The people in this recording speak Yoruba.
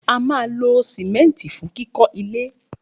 A ma ló simẹnti fún kikọ le.